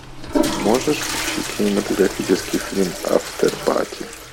можешь включить кинематографический фильм афтепати